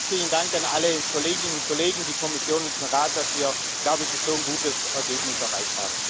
Noch mal herzlichen Dank an alle Kolleginnen und Kollegen, die Kommission und den Rat, dass wir glaube ich ein so gutes Ergebnis erreicht haben.